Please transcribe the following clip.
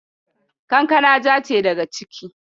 Kankaka ja ce daga ciki.